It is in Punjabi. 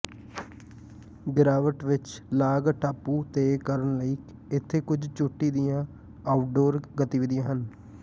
ਗਿਰਾਵਟ ਵਿਚ ਲਾਂਗ ਟਾਪੂ ਤੇ ਕਰਨ ਲਈ ਇੱਥੇ ਕੁੱਝ ਚੋਟੀ ਦੀਆਂ ਆਊਟਡੋਰ ਗਤੀਵਿਧੀਆਂ ਹਨ